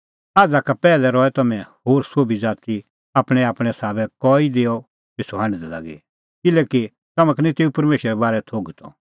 आझ़ा कै पैहलै रहै तम्हैं होर सोभै ज़ाती आपणैंआपणैं साबै कई देअ पिछ़ू हांढदै लागी किल्हैकि तम्हां का निं तेऊ परमेशरे बारै थोघै त